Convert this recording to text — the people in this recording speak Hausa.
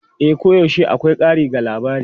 E, koyaushe akwai ƙari ga labari.